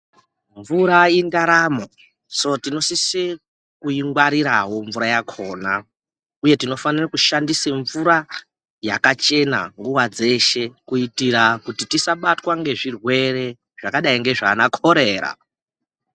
Mvura indaramo so tinosise kuingwarirawo mvura yakhona uye tinofanire kushandise mvura yakachena nguwa dzeshe kuitira kuti tisabatwe ngezvirwere zvakadai ngezvaana korera.